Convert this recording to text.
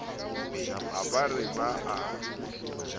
ha ba re ba a